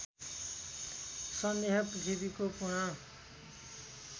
सन्देह पृथ्वीको पूर्ण